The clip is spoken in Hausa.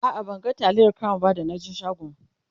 a'a ban ga taliyar crown ba da na je shagon